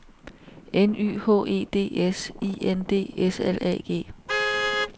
N Y H E D S I N D S L A G